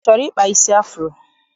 I chọrọ ịkpa isi afuro?